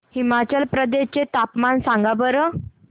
हिमाचल प्रदेश चे तापमान सांगा बरं